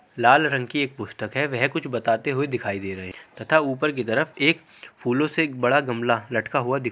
लाल रंग की एक पुस्तक है वह कुछ बताते हुए दिखाई दे रहे है तथा ऊपर की तरफ एक फूलों से एक बड़ा गमला लटका हुआ दिख --